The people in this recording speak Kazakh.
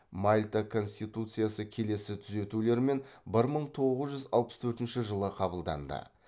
мальта конституциясы келесі түзетулермен бір мың тоғыз жүз алпыс төртінші жылы қабылданды